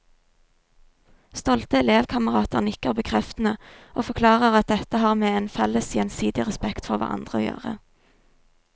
Stolte elevkamerater nikker bekreftende og forklarer at dette har med en felles gjensidig respekt for hverandre å gjøre.